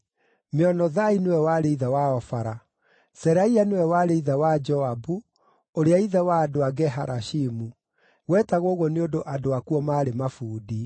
Meonothai nĩwe warĩ ithe wa Ofara. Seraia nĩwe warĩ ithe wa Joabu ũrĩa ithe wa andũ a Ge-Harashimu. Gwetagwo ũguo nĩ ũndũ andũ akuo maarĩ mabundi.